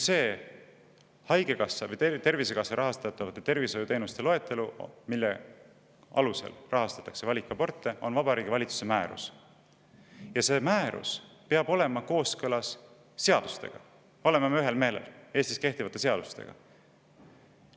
Tervisekassa rahastatavate tervishoiuteenuste loetelu, mille alusel valikaborte rahastatakse, on Vabariigi Valitsuse määrus, ja see määrus peab olema kooskõlas seadustega, Eestis kehtivate seadustega.